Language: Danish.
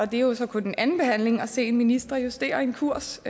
det er jo så kun en anden behandling at se en minister justere en kurs